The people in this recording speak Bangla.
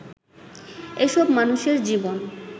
এসব মানুষের জীবন